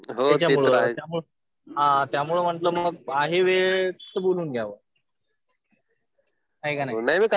हा त्यामुळं म्हणलं मग आहे वेळ तर बोलून घ्यावं. है का नाही?